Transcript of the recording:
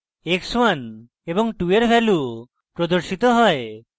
x1 এবং 2 এর value প্রদর্শিত হয়